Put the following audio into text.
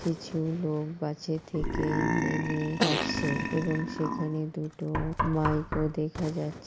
কিছু লোক বাসের থেকে নেমে আসছে এবং সেখানে দুটো মাইক ও দেখা যাচ--